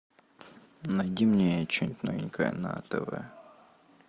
найди мне че нибудь новенькое на тв